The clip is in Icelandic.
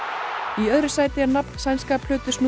í öðru sæti er nafn sænska